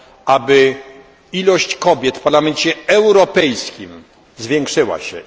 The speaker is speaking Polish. aby ilość kobiet w Parlamencie Europejskim zwiększyła się.